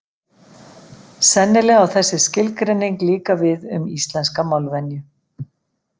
Sennilega á þessi skilgreining líka við um íslenska málvenju.